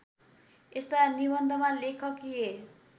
यस्ता निबन्धमा लेखकीय